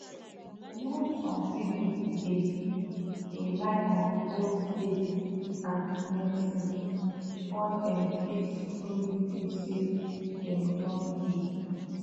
you know some people dey rely on both faith and medicine before dem fit truly feel say dem don heal